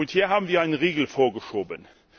Und hier haben wir einen Riegel vorgeschoben.